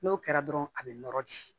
N'o kɛra dɔrɔn a bɛ nɔrɔ ji